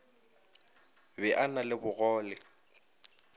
be a na le bogole